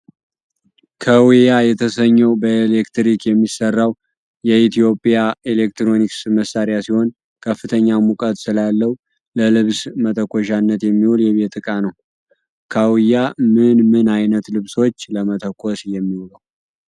ከውያ የተሰኘው በኤሌክትሪክ የሚሠራው የኤሌክትሮኒክስ መሳሪያ ሲሆን ከፍተኛ ሙቀት ስላለው ለልብስ መተኮሻነት የሚውል የቤት እቃ ነው። ካውያ ምን ምን አይነት ልብሶች ለመተኮስ የሚውለው?